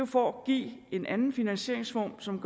for at give en anden finansieringsform som